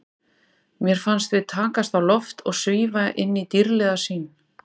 Mér fannst við takast á loft og svífa inn í dýrðlega sýn.